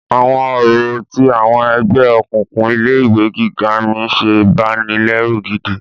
Àwọn orò tí àwọn ẹgbẹ́ òkùnkùn ilé ìwé gíga mí ń ṣe banilẹ́rù gidi.